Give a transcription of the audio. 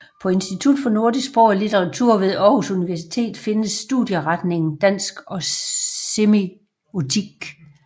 På Institut for Nordisk Sprog og Litteratur ved Aarhus Universitet findes studieretningerne Dansk og Semiotik